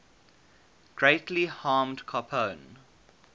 greatly harmed capone